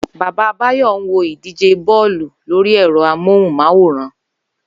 Bàbá Báyò̩ ń wo ìdíje bó̩ò̩lù lórí è̩ro̩ amóhùn-máwòrán